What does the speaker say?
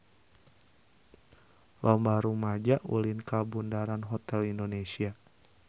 Loba rumaja ulin ka Bundaran Hotel Indonesia